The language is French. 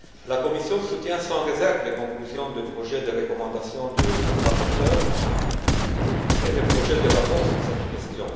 La Commission soutient sans réserve les conclusions du projet de recommandation du rapporteur et le projet de rapport sur cette question.